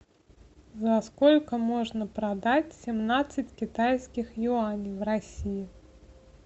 за сколько можно продать семнадцать китайских юаней в россии